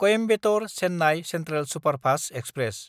कॊइम्बेटर–चेन्नाय central superfast express